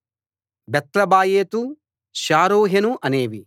బేత్లబాయోతు షారూహెను అనేవి